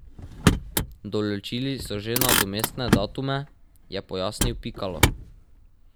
Določili so že nadomestne datume, je pojasnil Pikalo.